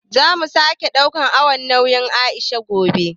Zamu sake ɗaukan awon nauyin Aisha gobe